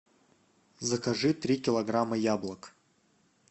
закажи три килограмма яблок